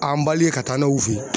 An ka taa n'a y'u feyi.